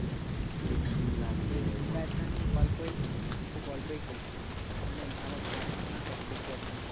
টা আমি খুব অল্পই খেলছি মানে ভালো খেলা হচ্ছে না তো দেখতে পাচ্ছি না